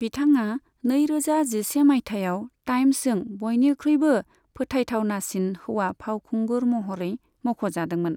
बिथाङा नैरोजा जिसे मायथाइयाव टाइम्सजों बयनिख्रुइबो फोथाइथावनासिन हौवा फावखुंगुर महरै मुंख'जादोंमोन।